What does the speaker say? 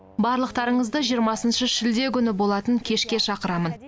барлықтарыңызды жиырмасыншы шілде күні болатын кешке шақырамын